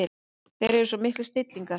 Þeir eru svo miklir snillingar.